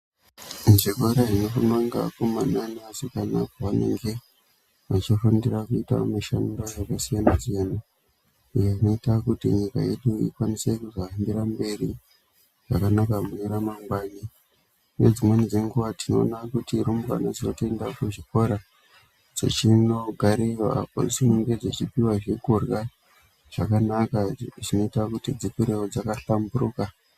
Muzvikora zvinofundwa ngeakomana neasikana pavanenge vachifundira kuita mishando yakasiyana-siyana. Iyo inoita kuti nyika yedu ikwanise kuzohambira mberi zvakanaka mune ramangwani. Nedzimweni dzenguva tinoona kuti rumbwana dzinotoenda kuzvikora dzichinogarirwa padzinenge dzichipiva zvekurya. Zvakanaka zvinoita kuti dzikurevo dzakahlambiruka.